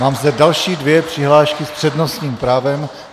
Mám zde další dvě přihlášky s přednostním právem.